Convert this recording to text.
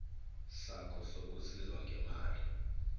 sakho sokusizwa ngemali